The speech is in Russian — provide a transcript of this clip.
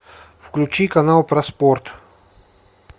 включи канал про спорт